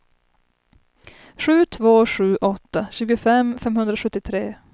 sju två sju åtta tjugofem femhundrasjuttiotre